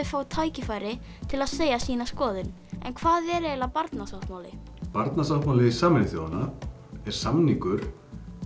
fái tækifæri til að segja sína skoðun en hvað er eiginlega barnasáttmáli barnasáttmáli Sameinuðu þjóðanna er samningur